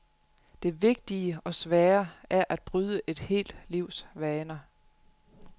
Det vigtige, og svære, er at bryde et helt livs vaner.